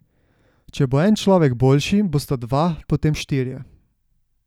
Če bo en človek boljši, bosta dva, potem štirje ...